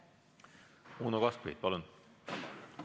Uno Kaskpeit, palun!